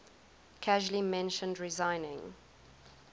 casually mentioned resigning